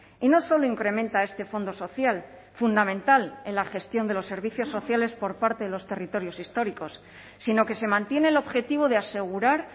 y no solo incrementa este fondo social fundamental en la gestión de los servicios sociales por parte de los territorios históricos sino que se mantiene el objetivo de asegurar